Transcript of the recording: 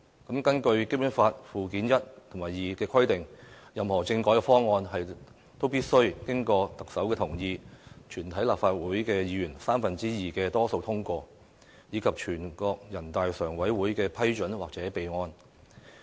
根據《基本法》附件一和附件二的規定，任何政改方案都必須經過特首同意、立法會全體議員三分之二多數通過，以及全國人大常委會的批准或備案。